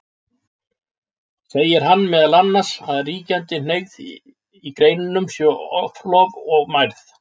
Segir hann meðal annars að ríkjandi hneigð í greinunum sé oflof og mærð.